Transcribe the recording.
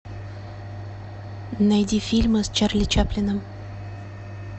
найди фильмы с чарли чаплином